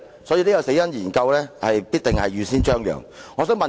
所以，這項"死因研究"必定是預先張揚的。